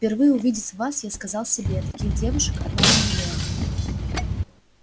впервые увидеть вас я сказал себе таких девушек одна на миллион